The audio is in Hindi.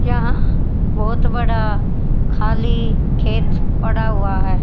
यहां बहोत बड़ा खाली खेत पड़ा हुआ है।